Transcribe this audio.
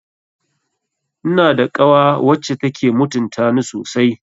Ina da kawa wacce take mutuntani sosai